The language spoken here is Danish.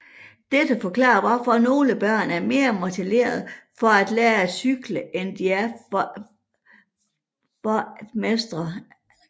Dette forklarer hvorfor nogle børn er mere motiveret for at lærer at cykle end de er for at mestre algebra